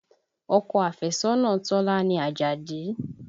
Ọkọ afẹ́sọ́nà Tọ́lá ni Àjàdí